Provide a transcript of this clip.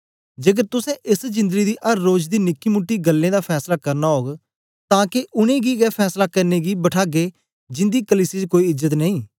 जेकर तुसें एस जिंदड़ी दी अर रोज दी निकीमूटी गल्लें दा फैसला करना ओग तां के उनेंगी गै फैसला करने गी बठागे जिंदी कलीसिया च कोई इज्जत नेई